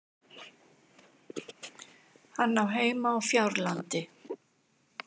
Hann á heima á Fjárlandi.